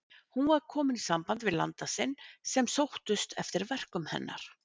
Hún var aftur komin í samband við landa sína sem sóttust eftir verkum hennar.